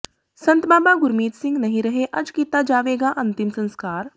ਸੰਤ ਬਾਬਾ ਗੁਰਮੀਤ ਸਿੰਘ ਨਹੀਂ ਰਹੇ ਅੱਜ ਕੀਤਾ ਜਾਵੇਗਾ ਅੰਤਿਮ ਸੰਸਕਾਰ